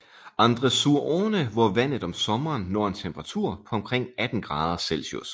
Andre sur Orne hvor vandet om sommeren når en temperatur på omkring 18 grader Celsius